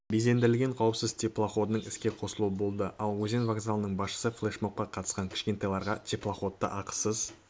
безендірілген қауіпсіз теплоходының іске қосылуы болды ал өзен вокзалының басшысы флешмобқа қатысқан кішкентайларға теплоходта ақысыз